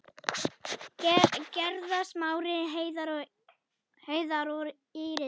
Gerða, Smári, Heiðar og Íris.